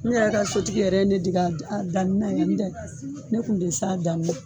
Ne yɛrɛ ka sotigi yɛrɛ ne dege danni na yɛrɛ ndɛ ne kun tɛ se.